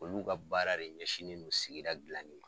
Olu ka baara de ɲɛsinen don sigida dilanni ma.